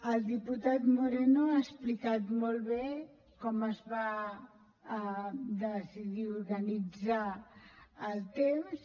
el diputat moreno ha explicat molt bé com es va decidir organitzar el temps